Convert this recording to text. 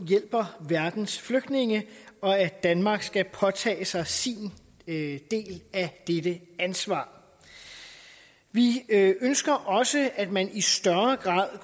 hjælper verdens flygtninge og at danmark skal påtage sig sin del af dette ansvar vi ønsker også at man i større grad